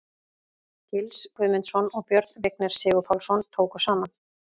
Gils Guðmundsson og Björn Vignir Sigurpálsson tóku saman.